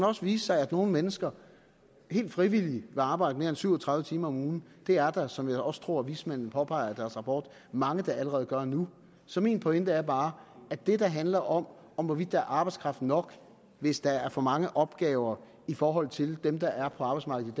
også vise sig at nogle mennesker helt frivilligt vil arbejde mere end syv og tredive timer om ugen det er der som jeg også tror vismændene påpeger i deres rapport mange der allerede gør nu så min pointe er bare at det der handler om om hvorvidt der er arbejdskraft nok hvis der er for mange opgaver i forhold til dem der er på arbejdsmarkedet